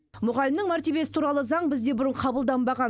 мұғалімнің мәртебесі туралы заң бізде бұрын қабылданбаған